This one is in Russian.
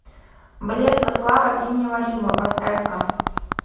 блеск и слава древнего рима поставь ка